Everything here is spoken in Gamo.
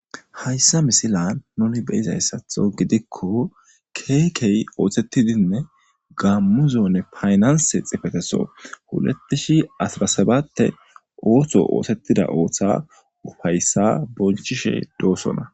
hayssa misilan nuni be'izayissatho gidikko keehi oothettidinne gaammuzonne paynanse xifeteso hulettishi asrasabate ooththo oothettida ooththa ufayissa bonchishe doosona